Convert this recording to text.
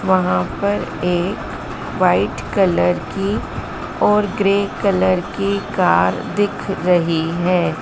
वहां पर एक वाइट कलर की और ग्रे कलर की कार दिख रही है।